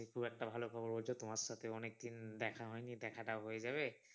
হ্যাঁ হ্যাঁ খুব একটা ভালো খবর বলছো তোমার সাথে অনেকদিন দেখা হয়নি দেখা টাও হয়ে যাবে।